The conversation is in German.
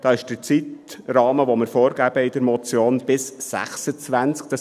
Der Zeitrahmen, den wir in der Motion vorgeben, ist bis 2026.